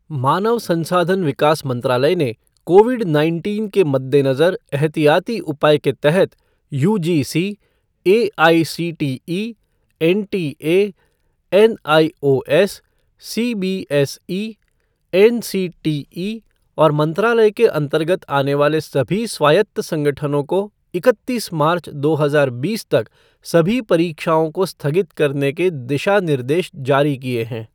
मानव संसाधन विकास मंत्रालय ने कोविड नाइनटीन के मद्देनजर एहतियाती उपाय के तहत UGC, AICTE, NTA, NIOS, CBSE, NCTE और मंत्रालय के अंतर्गत आने वाले सभी स्वायत्त संगठनों को इकत्तीस मार्च, दो हजार बीस तक सभी परीक्षाओं को स्थगित करने के दिशा निर्देश जारी किए हैं